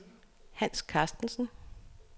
Hans Carstensen